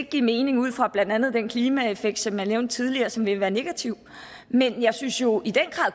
give mening ud fra blandt andet den klimaeffekt som jeg nævnte tidligere som ville være negativ men jeg synes jo i den